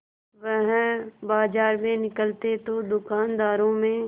वह बाजार में निकलते तो दूकानदारों में